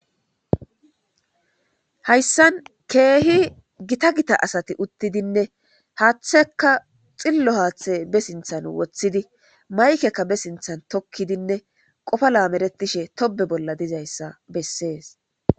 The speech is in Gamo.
Hayssan keehi gita gita asati uttidinne haaththeka xillo haaththe be sinthan woththidi maykekka be sinthan tokkidinne qofa laameretishe tobe bolla dizayssa bessees.